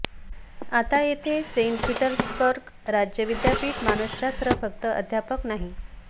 आता येथे Saint Petersburg राज्य विद्यापीठ मानसशास्त्र फक्त अध्यापक नाही